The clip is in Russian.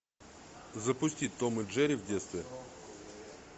запусти том и джерри в детстве